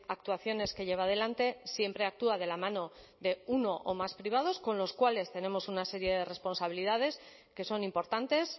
actuaciones que lleva adelante siempre actúa de la mano de uno o más privados con los cuales tenemos una serie de responsabilidades que son importantes